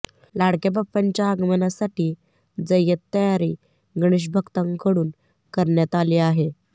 लाडक्या बाप्पांच्या आगमनासाठी जय्यत तयारी गणेश भक्तांकडून करण्यात आली आहे